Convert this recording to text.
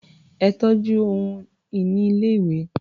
Ẹ tọ́jú ohun-ìní ilé-ìwé.